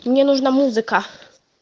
мне нужна музыка